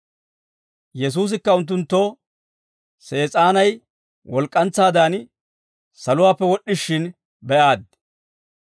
Yesuusikka unttunttoo, «Sees'aanay walk'k'antsaadan saluwaappe wod'd'ishin be'aaddi.